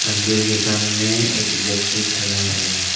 मंदिर के सामने एक व्यक्ति खड़ा है।